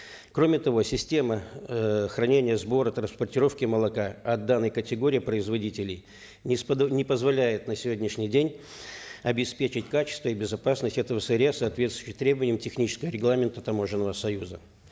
кроме того система эээ хранения сбора транспортировки молока от данной категории производителей не позволяет на сегодняшний день обеспечить качество и безопасность этого сырья соответствующего требованиям технического регламента таможенного союза